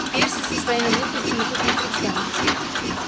перси со своими глупостями тут ни при чём